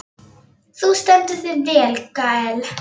Þú stendur þig vel, Gael!